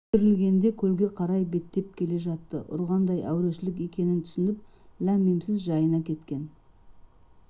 көтерілгенде көлге қарай беттеп келе жатты ұрғандай әурешілік екенін түсініп ләм-миімсіз жайына кеткен